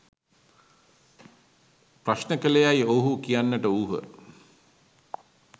ප්‍රශ්න කළේයෑයි ඔවුහු කියන්නට වූහ